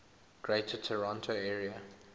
greater toronto area